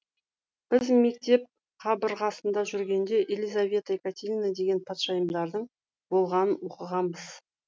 біз мектеп қабырғасында жүргенде елизавета екатерина деген патшайымдардың болғанын оқығанбыз